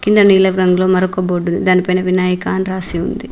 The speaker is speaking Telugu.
కింద నీలపు రంగులో మరోక బోర్డు ఉంది దాని పైన వినాయక అని రాసి ఉంది.